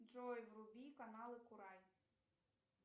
джой вруби каналы курай